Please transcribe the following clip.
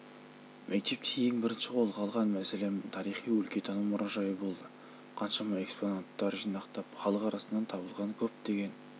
мектепте ең бірінші қолға алған мәселем тарихи-өлкетану мұражайы болды қаншама экспонаттар жинақтап халық арасынан табылған көптеген